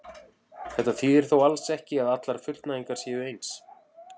Þetta þýðir þó alls ekki að allar fullnægingar séu eins.